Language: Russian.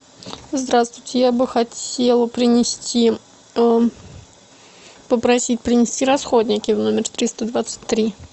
здравствуйте я бы хотела принести попросить принести расходники в номер триста двадцать три